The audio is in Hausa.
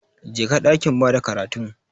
Jeka dakin bada karatun.